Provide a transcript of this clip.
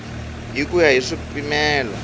hi ku ya hi swipimelo